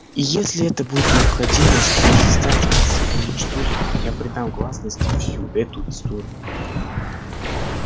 и если это будет необходимо чтобы заставить вас их уничтожить я предам гласности всю эту историю